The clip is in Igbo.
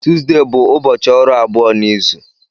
Tuzdee bụ ụbọchị ọrụ abụọ n'izu.